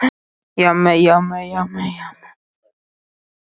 Það er búið að loka henni fyrir bílaumferð!